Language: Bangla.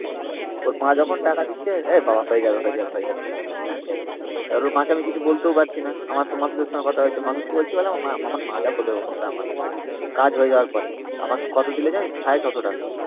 ওর মা যখন টাকা দিচ্ছে এ বাবা হয়ে যাবে হয় যাবে হয়ে যাবে। এবার ওর মাকে আমি কিছু বলতে পারছি না। আমার তো মাসুদের সাথে কথা হয়েছে। মাসুদকে বলছি বলে আমার মা যা বলবে যা পারবে । কাজ হওয়ার পরে আমাকে কত দিল জানিস? six hundred fifty টাকা